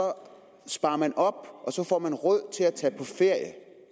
sparer man op og så får man råd til at tage på ferie